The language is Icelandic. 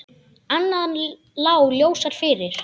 Annað lá ljósar fyrir.